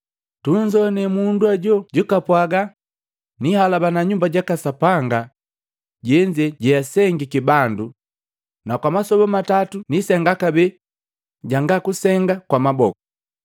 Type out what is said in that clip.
“Tunzoana mundu jonzoo jakapwaga, ‘Nihalabana Nyumba jaka Sapanga jenze jeasengiki bandu, na kwa masoba matatu nisenga kabee jangakusenga kwa maboku.’ ”